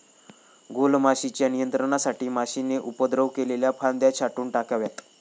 गॊलमाशीच्या नियंत्रणासाठी माशीने उपद्रव केलेल्या फांद्या छाटून टाकाव्यात.